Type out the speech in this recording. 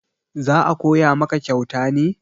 za a Koya maka kyauta ne